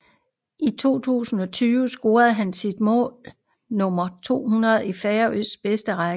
I 2020 scorede han sit mål nummer 200 i Færøernes bedste række